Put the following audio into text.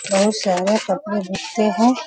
बहुत सारा कपड़ा लत्ते हैं।